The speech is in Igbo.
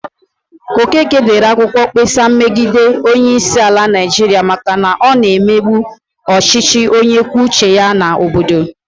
Okeke dere akwụkwọ mkpesa megide onyeisiala Naijiria maka na ọ na-emegbu ọchịchị onye kwuo uche ya nke obodo.